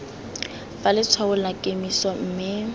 fa letshwaong la kemiso mme